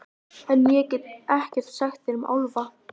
En- ég get ekkert sagt þér um álfa.